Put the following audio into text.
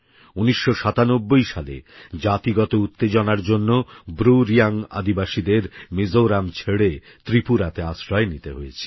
১৯৯৭ সালে জাতিগত উত্তেজনার জন্য ব্রু রিয়াং আদিবাসীদের মিজোরাম ছেড়ে ত্রিপুরাতে আশ্রয় নিতে হয়েছিল